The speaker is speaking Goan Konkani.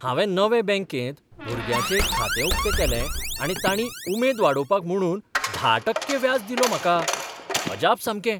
हांवें नवे बँकेंत भुरग्याचें एक खातें उकतें केलें आनी तांणी उमेद वाडोवंक म्हुणून धा टक्के व्याज दिलो म्हाका! अजाप सामकें!